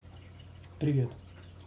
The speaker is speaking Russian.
привет